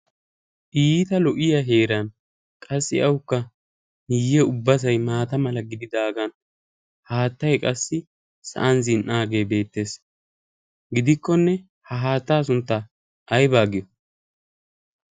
Iita lo'iyaa heeran qassi awukka guye ubbaykka maataa gidagan haattay asi sa'an zin'aage beettees. Gidikkonne ha haattaa sunttaa ayba giyoy?